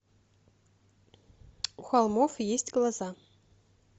у холмов есть глаза